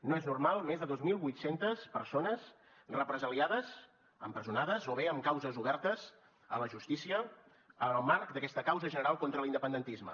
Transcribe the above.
no és normal més de dos mil vuit cents persones represaliades empresonades o bé amb causes obertes a la justícia en el marc d’aquesta causa general contra l’independentisme